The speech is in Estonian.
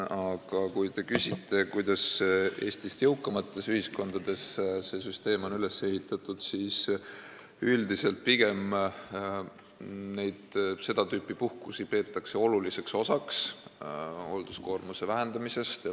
Aga kui te küsite, kuidas Eestist jõukamates ühiskondades see süsteem on üles ehitatud, siis vastan, et üldiselt peetakse seda tüüpi puhkusi hoolduskoormuse vähendamise oluliseks osaks.